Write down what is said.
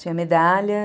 Tinha medalha.